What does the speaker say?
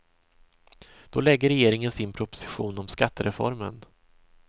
Då lägger regeringen sin proposition om skattereformen.